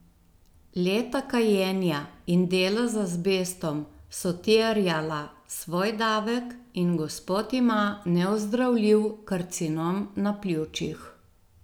Leta kajenja in dela z azbestom so terjala svoj davek in gospod ima neozdravljiv karcinom na pljučih.